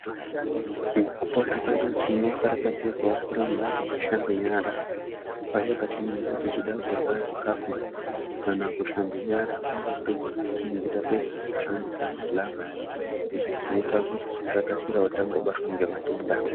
Mukupona kwedu tinokarakadzirwa kuramba tichishambe nyara paya patinenge tichida kurya kana kushambe nyara paya patinenge tapedza kushandisa zvilavha. Izvi zvinoita kuti tisakasirawo tabatwa ngematenda.